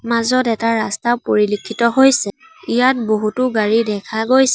মাজত এটা ৰাস্তাও পৰিলক্ষিত হৈছে ইয়াত বহুতো গাড়ী দেখা গৈছে।